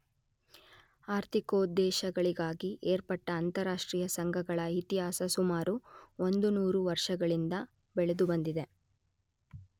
ಆರ್ಥಿಕೋದ್ದೇಶಗಳಿಗಾಗಿ ಏರ್ಪಟ್ಟ ಅಂತಾರಾಷ್ಟ್ರೀಯ ಸಂಘಗಳ ಇತಿಹಾಸ ಸುಮಾರು ಒಂದುನೂರು ವರ್ಷಗಳಿಂದ ಬೆಳೆದುಬಂದಿದೆ.